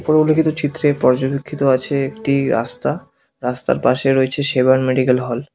উল্লেখিত চিত্রে পর্যবেক্ষিত আছে একটি রাস্তা রাস্তার পাশে রয়েছে সেবায়ন মেডিকেল হল ।